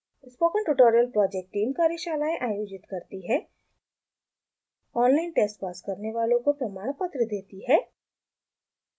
spoken tutorial project team कार्यशालाएं आयोजित करती है ऑनलाइन टेस्ट पास करने वालों को प्रमाणपत्र देती है